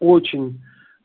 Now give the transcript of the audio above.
очень